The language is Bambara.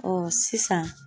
Ɔɔ sisan